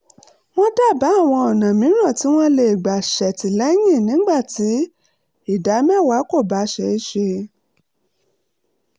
wọ́n dábàá àwọn ọ̀nà mìíràn tí wọ́n lè gbà ṣètìlẹ́yìn nígbà tí ìdá mẹ́wàá kò bá ṣeé ṣe